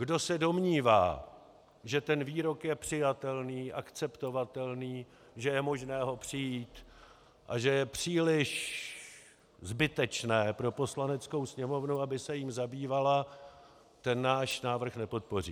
Kdo se domnívá, že ten výrok je přijatelný, akceptovatelný, že je možné ho přejít a že je příliš zbytečné pro Poslaneckou sněmovnu, aby se jím zabývala, ten náš návrh nepodpoří.